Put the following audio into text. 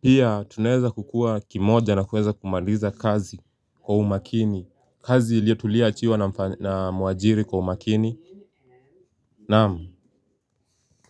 pia tunaweza kukua kimoja na kuweza kumaliza kazi kwa umakini kazi tulioachiwa na mwajiri kwa umakini naam.